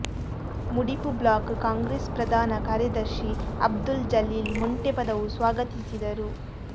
ಮುಡಿಪು block Congress ಪ್ರಧಾನ ಕಾರ್ಯದರ್ಶಿ ಅಬ್ದುಲ್ ಜಲೀಲ್ ಮೊಂಟೆಪದವು ಸ್ವಾಗತಿಸಿದರು